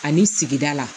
Ani sigida la